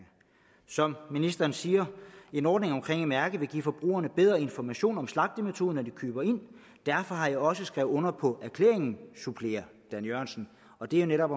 som ministeren siger en ordning med et mærke vil give forbrugerne bedre information om slagtemetode når de køber ind derfor har jeg også skrevet under på erklæringen supplerer dan jørgensen og det er netop